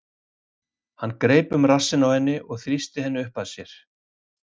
Hann greip um rassinn á henni og þrýsti henni upp að sér.